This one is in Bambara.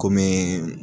Kɔmi